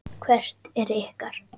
Hvert er ykkar?